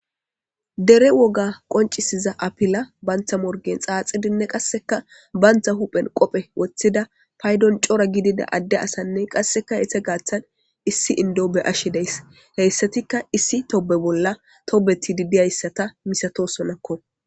Dere woga qoncisiza apila bantha morgen xaaxidinne qasseka bantha huphen qophe woththida paydon cora gidida adde asanne qasseka hethe gaaththan issi indoobe ashe deys heyssatikka issi tobe bolla tobeti didiyayssata misato sonakko